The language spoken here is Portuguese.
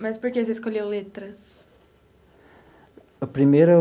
Mas por que você escolheu letras? Primeiro.